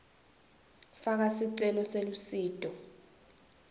faka sicelo selusito